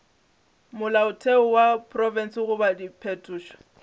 molaotheo wa profense goba diphetošo